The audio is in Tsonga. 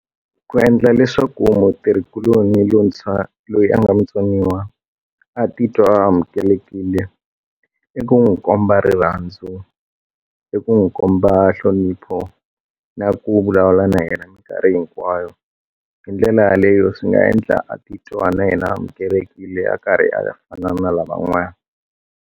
Ku endla leswaku mutirhikuloni lowuntshwa loyi a nga mutsoniwa a titwa a amukelekile i ku n'wi komba rirhandzu i ku n'wi komba nhlonipho na ku vulavula na yena mikarhi hinkwayo hi ndlela yaleyo swi nga endla a titwa na yena amukelekile a karhi a fana na lavan'wana.